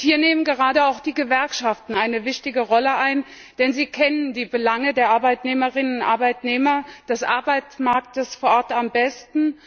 Hier spielen gerade auch die Gewerkschaften eine wichtige Rolle, denn sie kennen die Belange der Arbeitnehmerinnen und Arbeitnehmer, des Arbeitsmarktes vor Ort am besten.